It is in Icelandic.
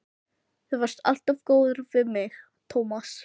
Þú varst alltaf góður við mig, Tómas.